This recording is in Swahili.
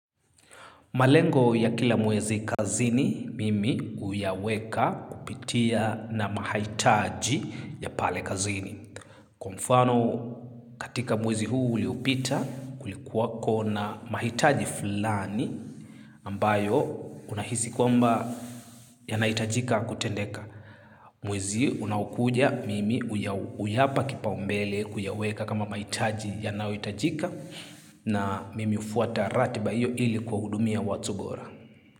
Malengo ya kila mwezi kazini, mimi huyaweka kupitia na mahitaji ya pale kazini. Kwa mfano katika mwezi huu uliopita kulikuwa ko na mahitaji fulani ambayo unahisi kwamba yanahitajika kutendeka. Mwezi unakuja mimi huyapa kipa umbele kuyaweka kama mahitaji yanahitajika na mimi hufuata ratiba iyo ili kwa hudumia watu bora.